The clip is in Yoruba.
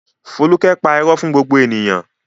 Folúkẹ́ pa irọ́ fún gbogbo ènìyàn?